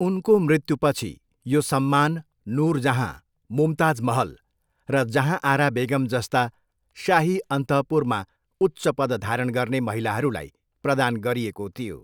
उनको मृत्युपछि, यो सम्मान नुरजहाँ, मुमताज महल र जहाँआरा बेगम जस्ता शाही अन्तःपुरमा उच्च पद धारण गर्ने महिलाहरूलाई प्रदान गरिएको थियो।